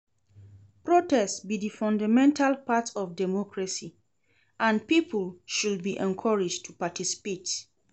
Protest be di fundamental part of democracy, and people should be encouraged to participate.